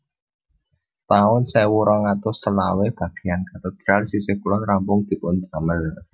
taun sewu rong atus selawe bagéyan katedral sisih kulon rampung dipun damel